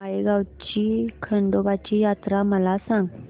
माळेगाव ची खंडोबाची यात्रा मला सांग